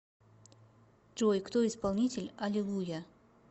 джой кто исполнитель алилуйя